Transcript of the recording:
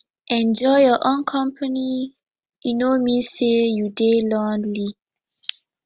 enjoy your own company e no mean say you dey lonely